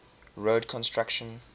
road construction